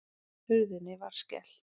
Hurðinni var skellt.